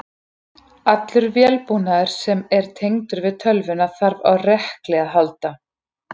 Allur vélbúnaður sem er tengdur við tölvuna þarf á rekli að halda.